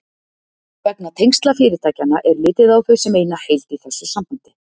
Vegna tengsla fyrirtækjanna er litið á þau sem eina heild í þessu sambandi.